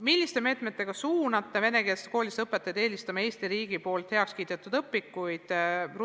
Milliste meetmetega suunate venekeelses koolis õpetajat eelistama Eesti riigis heaks kiidetud õpikuid?